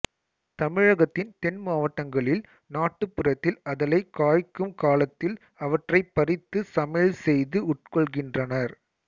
தமிழகத்தின் தென் மாவட்டங்களில் நாட்டுப்புறத்தில் அதலை காய்க்கும் காலத்தில் அவற்றைப் பறித்து சமையல் செய்து உட்கொள்கின்றனர்